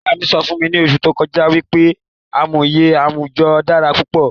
Ìyá mí sọ fún mi ni oṣù tó kọjá wípé àmúyẹ àwùjọ dára púpọ̀